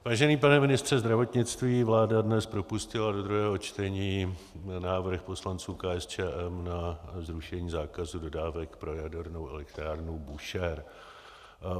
Vážený pane ministře zdravotnictví, vláda dnes propustila do druhého čtení návrh poslanců KSČM na zrušení zákazu dodávek pro jadernou elektrárnu Búšehr.